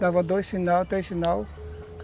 Dava dois sinais, três sinais.